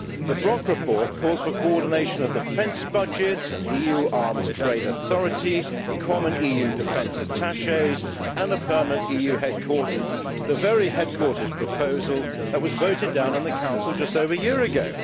The Brok report calls for coordination of defence budgets, an EU arms trade authority, common EU defence attachés and a permanent EU headquarters the very headquarters proposal that was voted down in the Council just over a year ago.